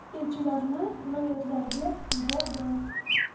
Elchilarni viloyatlarga yubordim.